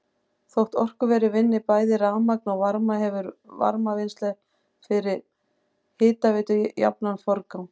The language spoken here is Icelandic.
Þótt orkuverið vinni bæði rafmagn og varma hefur varmavinnsla fyrir hitaveitu jafnan forgang.